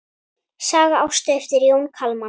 Saga Ástu eftir Jón Kalman.